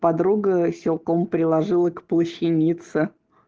подруга силком приложила к плащанице